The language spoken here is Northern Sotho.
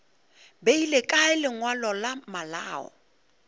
beile kae lengwalo la malao